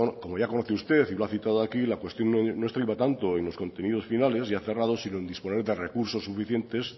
como ya conoce usted y lo ha citado aquí la cuestión no estriba tanto en los contenidos finales ya cerrado sino en disponer de recursos suficientes